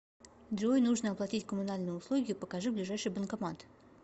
джой нужно оплатить коммунальные услуги покажи ближайший банкомат